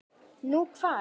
Nú, hvar?